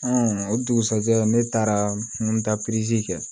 o dugusɛjɛ ne taara n ta pezeli kɛ